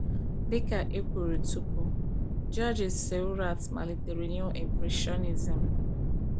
Dị ka e kwuru tupu, Georges Seurat malitere Neo-Impressionism.